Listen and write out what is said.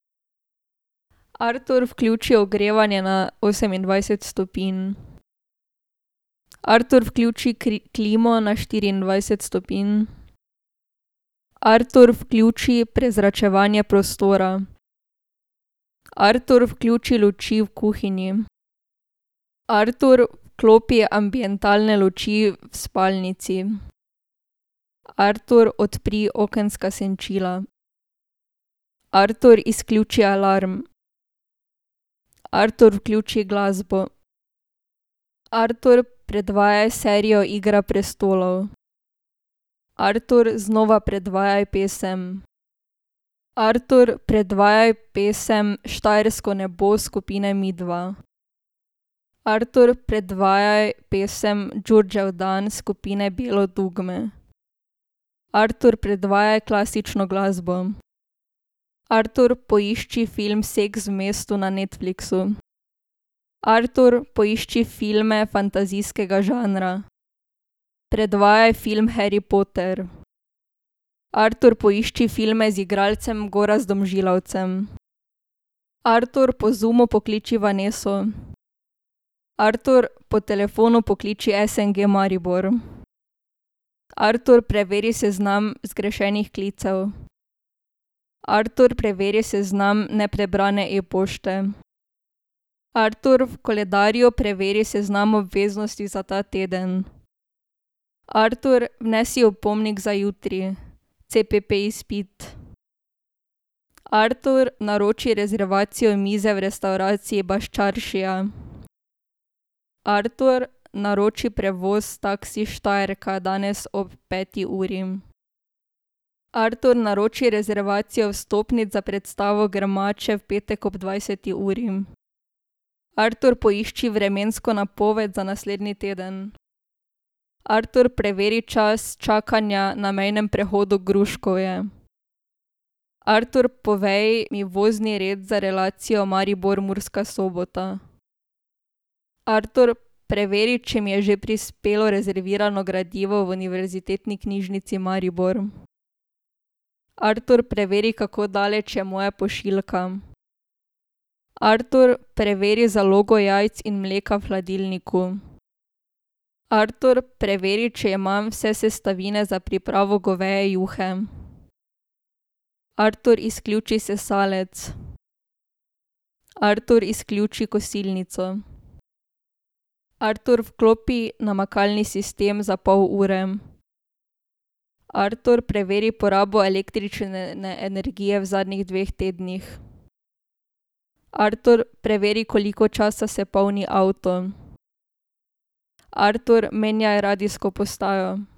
Artur, vključi ogrevanje na osemindvajset stopinj. Artur, vključi klimo na štiriindvajset stopinj. Artur, vključi prezračevanje prostora. Artur, vključi luči v kuhinji. Artur, vklopi ambientalne luči v spalnici. Artur, odpri okenska senčila. Artur, izključi alarm. Artur, vključi glasbo. Artur, predvajaj serijo Igra prestolov. Artur, znova predvajaj pesem. Artur, predvajaj pesem Štajersko nebo skupine Midva. Artur, predvajaj pesem Đurđevdan skupine Bijelo dugme. Artur, predvajaj klasično glasbo. Artur, poišči film Seks v mestu na Netflixu. Artur, poišči filme fantazijskega žanra. Predvajaj film Harry Potter. Artur, poišči filme z igralcem Gorazdom Žilavcem. Artur, po Zoomu pokliči Vaneso. Artur, po telefonu pokliči SNG Maribor. Artur, preveri seznam zgrešenih klicev. Artur, preveri seznam neprebrane e-pošte. Artur, v koledarju preveri seznam obveznosti za ta teden. Artur, vnesi opomnik za jutri CPP-izpit. Artur, naroči rezervacijo mize v restavraciji Baščaršija. Artur, naroči prevoz taksi Štajerka danes od peti uri. Artur, naroči rezervacijo vstopnic za predstavo Grmače v petek ob dvajseti uri. Artur, poišči vremensko napoved za naslednji teden. Artur, preveri čas čakanja na mejnem prehodu Gruškovje. Artur, povej mi vozni red za relacijo Maribor-Murska Sobota. Artur, preveri, če mi je že prispelo rezervirano gradivo v Univerzitetni knjižnici Maribor. Artur, preveri, kako daleč je moja pošiljka. Artur, preveri zalogo jajc in mleka v hladilniku. Artur, preveri, če imam vse sestavine za pripravo goveje juhe. Artur, izključi sesalec. Artur, izključi kosilnico. Artur, vklopi namakalni sistem za pol ure. Artur, preveri porabo električne energije v zadnjih dveh tednih. Artur, preveri, koliko časa se polni avto. Artur, menjaj radijsko postajo.